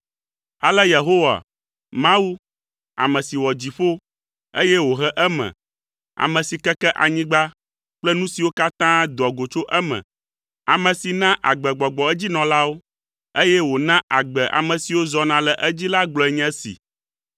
Ale Yehowa, Mawu, ame si wɔ dziƒo, eye wòhe eme, ame si keke anyigba kple nu siwo katã doa go tso eme, ame si na agbegbɔgbɔ edzinɔlawo, eye wòna agbe ame siwo zɔna le edzi la gblɔe nye esi.